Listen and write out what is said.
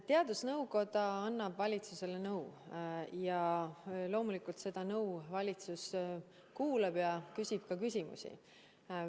Teadusnõukoda annab valitsusele nõu ja loomulikult seda nõu valitsus kuulab ja küsib ka küsimusi.